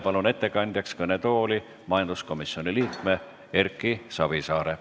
Palun ettekandjaks kõnetooli majanduskomisjoni liikme Erki Savisaare.